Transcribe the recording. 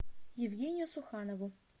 евгению суханову